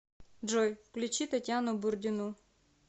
джой включи татьяну бурдину